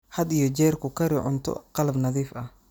Had iyo jeer ku kari cunto qalab nadiif ah.